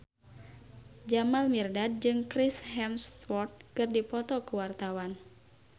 Jamal Mirdad jeung Chris Hemsworth keur dipoto ku wartawan